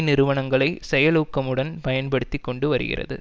நிறுவனங்களை செயலூக்கமுடன் பயன்படுத்தி கொண்டு வருகிறது